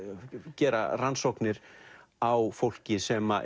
gera rannsóknir á fólki sem